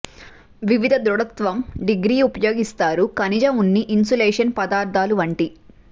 వివిధ దృఢత్వం డిగ్రీ ఉపయోగిస్తారు ఖనిజ ఉన్ని ఇన్సులేషన్ పదార్థాలు వంటి